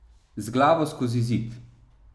Z glavo skozi zid.